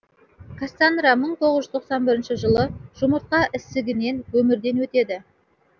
кассанра мың тоғыз жүз тоқсан бірінші жылы жұмыртқа ісігінен өмірден өтеді